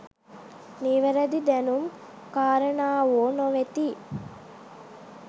නිවැරදි දැනුම් කාරණාවෝ නොවෙති.